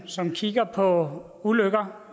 som kigger på ulykker